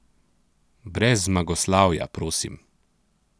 Brez zmagoslavja, prosim!